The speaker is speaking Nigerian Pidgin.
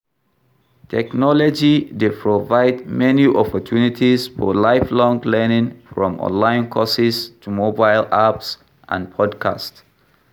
Technology dey provide many opportunities for lifelong learning from online courses to mobile apps and podcasts.